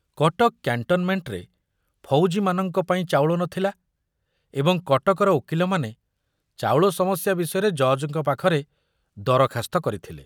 କଟକ କ୍ୟାଣ୍ଟନମେଣ୍ଟରେ ଫୌଜିମାନଙ୍କ ପାଇଁ ଚାଉଳ ନଥିଲା ଏବଂ କଟକର ଓକିଲମାନେ ଚାଉଳ ସମସ୍ୟା ବିଷୟରେ ଜଜ୍‌ଙ୍କ ପାଖରେ ଦରଖାସ୍ତ କରିଥିଲେ।